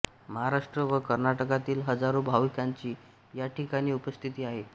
महाराष्ट्र व कर्नाटकातील हजारो भाविकांची याठिकाणी उपस्थिती असते